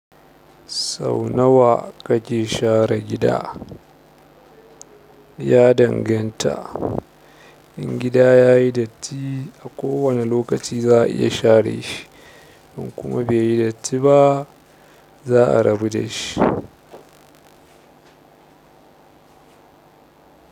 Sau nawa kake share gida? Ya danganta. In gida ya yi datti a kowane lokaci za a iya share shi, in kuma bai yi datti ba, za a rabu da shi.